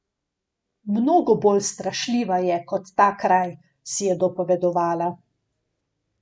Mnogo bolj strašljiva je kot ta kraj, si je dopovedovala.